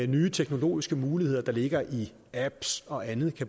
nye teknologiske muligheder der ligger i apps og andet